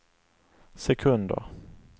sekunder